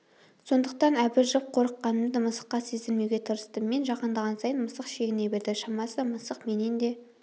сондықтан абыржып қорыққанымды мысыққа сездірмеуге тырыстым мен жақындаған сайын мысық шегіне берді шамасы мысық менен де